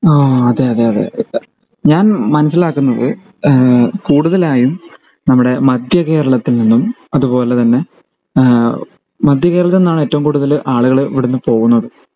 ആ അതെ അതെ അതെ ഞാൻ മനസിലാകുന്നത് ഈഹ് കൂടുതലായും നമ്മുടെ മധ്യകേരളത്തിൽ നിന്നും അതുപോലെതന്നെ ഈഹ് മധ്യകേരളത്തിൽ നിന്നാണ് ഏറ്റവും കൂടുതൽ ആളുകൾ ഇവിടുന്ന് പോവുന്നത്